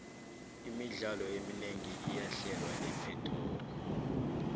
imidlalo eminengi iyahlelwa epetoxi